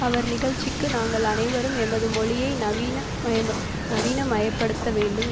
அவர் நிகழ்ச்சிக்கு நாங்கள் அனைவரும் எமது மொழியை நவீன மய நவீனமயப்படுத்தவேண்டும்